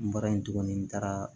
N bɔra yen tuguni n taara